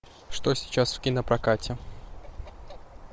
что сейчас в кинопрокате